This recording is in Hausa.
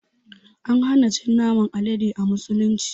An hana cin naman Alade a musulunci.